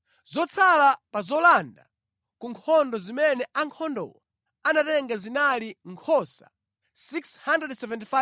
Zotsala pa zolanda ku nkhondo zimene ankhondowo anatenga zinali nkhosa 675,000,